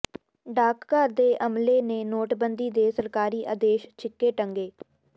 ਡਾਕਘਰ ਦੇ ਅਮਲੇ ਨੇ ਨੋਟਬੰਦੀ ਦੇ ਸਰਕਾਰੀ ਆਦੇਸ਼ ਛਿੱਕੇ ਟੰਗੇ